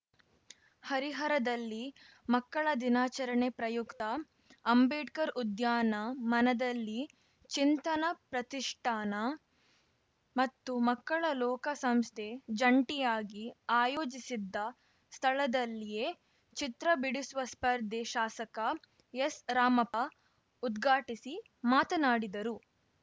ಹರಿಹರದಲ್ಲಿ ಮಕ್ಕಳ ದಿನಾಚರಣೆ ಪ್ರಯುಕ್ತ ಅಂಬೇಡ್ಕರ್‌ ಉದ್ಯಾನ ಮನದಲ್ಲಿ ಚಿಂತನ ಪ್ರತಿಷ್ಠಾನ ಮತ್ತು ಮಕ್ಕಳ ಲೋಕ ಸಂಸ್ಥೆ ಜಂಟಿಯಾಗಿ ಆಯೋಜಿಸಿದ್ದ ಸ್ಥಳದಲ್ಲಿಯೇ ಚಿತ್ರ ಬಿಡಿಸುವ ಸ್ಪರ್ಧೆ ಶಾಸಕ ಎಸ್‌ರಾಮಪ್ಪ ಉದ್ಘಾಟಿಸಿ ಮಾತನಾಡಿದರು